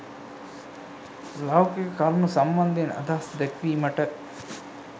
ලෞකික කරුණු සම්බන්ධයෙන් අදහස් දැක්වීමට